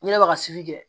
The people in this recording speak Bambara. N'i ne bɛ ka si kɛ